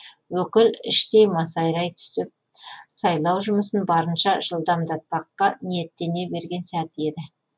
өкіл іштей масайрай түсіп сайлау жұмысын барынша жылдамдатпаққа ниеттене берген сәті еді